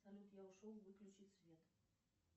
салют я ушел выключи свет